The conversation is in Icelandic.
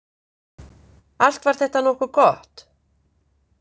Allt var þetta nokkuð gott.